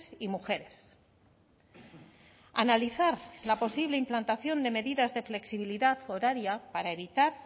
y mujeres analizar la posible implantación de medidas de flexibilidad horaria para evitar